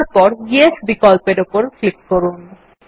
তারপর য়েস বিকল্প উপর ক্লিক করুন